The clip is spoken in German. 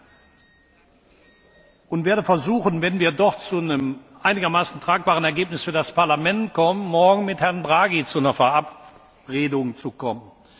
Ich werde versuchen wenn wir dort zu einem einigermaßen tragbaren Ergebnis für das Parlament kommen morgen mit Herrn Draghi zu einer Verabredung zu kommen.